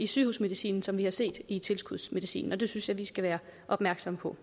sygehusmedicin som vi har set i tilskudsmedicin og det synes jeg vi skal være opmærksomme på